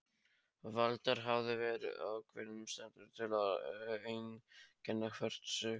Valdar hafa verið ákveðnar steindir til að einkenna hvert stig.